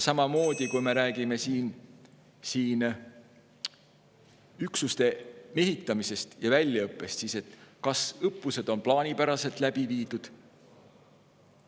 Samamoodi, kui me räägime siin üksuste mehitamisest ja väljaõppest, siis on küsimus, kas õppused on plaanipäraselt läbi viidud.